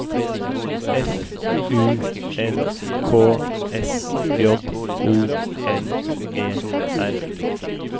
F U N K S J O N E R